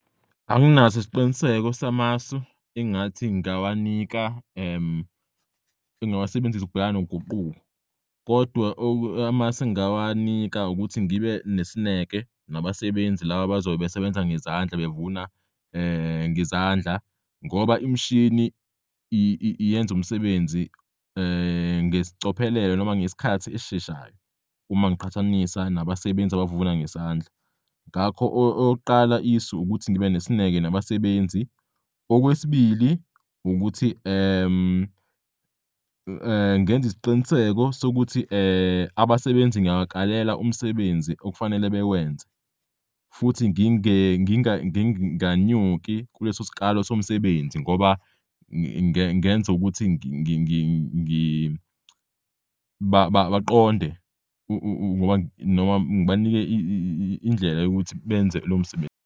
Anginaso isiqiniseko samasu engathi ngingawanika ngingawasebenzisa ukubhekana noguquko, kodwa amasu engawanika ukuthi ngibe nesineke nabasebenzi laba abazobe besebenza ngezandla bevuna ngezandla ngoba imishini yenz'umsebenzi ngesicophelelo noma ngesikhathi esisheshayo uma ngiqhathanisa nabasebenzi abavuna ngesandla. Ngakho okokuqala isu ukuthi ngibe nesineke nabasebenzi. Okwesibili, ukuthi ngenz'isiqiniseko sokuthi abasebenzi ngiyabakalela umsebenzi okufanele bewenze futhi nginganyuki kuleso skalo somsebenzi ngoba ngenz'ukuthi baqonde noma ngibanike indlela yokuthi benze lomsebenzi.